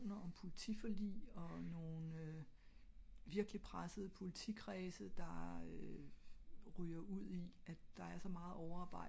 om politi forlig og nogle virkelig presset politi kredse der øh ryger ud i at der er så meget overarbejde